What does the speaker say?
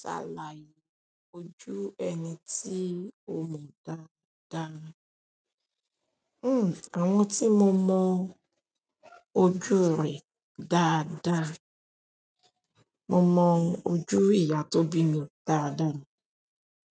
Ṣàlàyé ojú ẹni tí o mọ dáadáa. Hmm, àwọn tí mo mọ ojú rẹ̀ dáadáa, mo mọ ojú ìyá tó bí mi dáadáa,